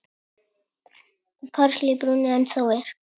Karl í brúnni ennþá er.